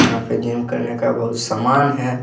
यहां पे जिम करने का बहुत समान है।